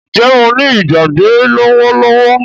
Njé o ní Ìgbàgbé lówó lówó?